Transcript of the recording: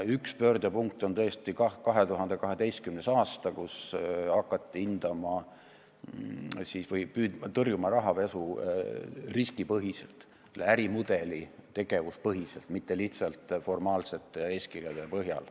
Üks pöördepunkt on tõesti 2012. aasta, kui hakati tõrjuma rahapesu riskipõhiselt, ärimudeli tegevuse põhiselt, mitte lihtsalt formaalsete eeskirjade põhjal.